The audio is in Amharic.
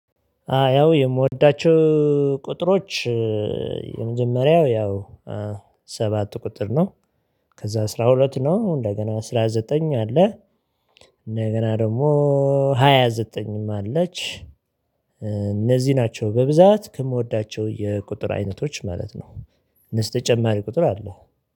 አ ያው የምወዳቸው ቁጥሮች የመጀመሪያው ያው ሰባት ቁጥር ነው ከዛ አስራ ሁለት ነው እንደገና አስራ ዘጠኝ አለ እንደገና ደግሞ ሃያ ዘጠኝም አለች እነዚህ ናቸው በብዛት ከምወዳቸው የቁጥር አይነቶች ማለት ነው። እነሱ ተጨማሪ ቁጥር አለ